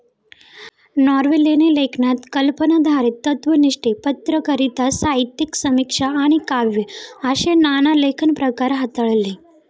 ऑर्वेलने लेखनात कल्पनाधारीत, तत्त्वनिष्ठ पत्रकारीता, साहित्यिक समीक्षा आणि काव्य असे नाना लेखनप्रकार हाताळले.